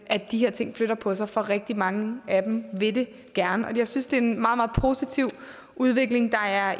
at de her ting flytter på sig for rigtig mange af dem vil det gerne og jeg synes det er en meget meget positiv udvikling der er